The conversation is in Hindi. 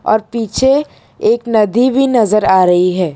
और पीछे एक नदी भी नज़र आ रही है।